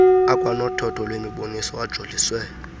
akwanothotho lwemiboniso ajoliswe